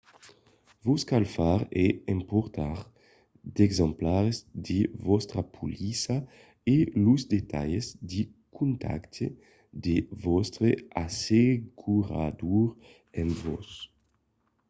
vos cal far e emportar d'exemplars de vòstra polissa e los detalhs de contacte de vòstre assegurador amb vos